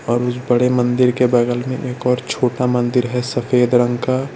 और उस बड़े मंदिर के बगल में एक और छोटा मंदिर है सफेद रंग का --